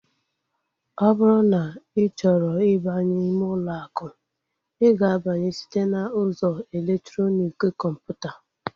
Ọ bụrụ na ị chọrọ ịbanye ime ụlọ akụ, I ga-abanye site n'ụzọ elektrọnik kọmputa